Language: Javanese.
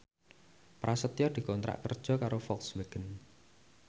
Prasetyo dikontrak kerja karo Volkswagen